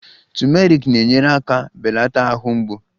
Turmeric na-enyere aka belata ahụ mgbu